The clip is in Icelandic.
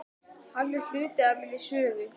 Hann er hluti af minni sögu.